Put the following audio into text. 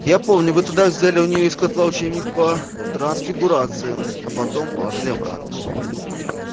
я помню вы тогда взяли у неё из котла учебник по трансфигурации а потом положили обратно